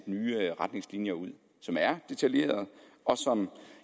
nye retningslinjer ud som er detaljerede og som